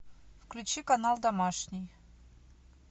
включи канал домашний